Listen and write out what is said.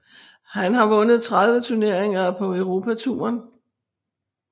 Han har vundet 30 turneringer på Europatouren